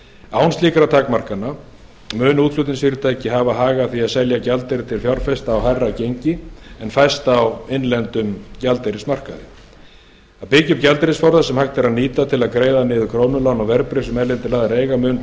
án slíkra takmarkana munu útflutningsfyrirtæki hafa hag af því að selja gjaldeyri til fjárfesta á hærra gengi en fæst á innlendum gjaldeyrismarkaði að byggja upp gjaldeyrisforða sem hægt er að nýta til að greiða niður krónulán og verðbréf sem erlendir aðilar eiga mun